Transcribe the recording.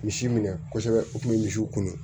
Misi minɛ kosɛbɛ o tun bɛ misiw kunun